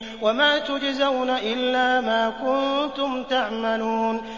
وَمَا تُجْزَوْنَ إِلَّا مَا كُنتُمْ تَعْمَلُونَ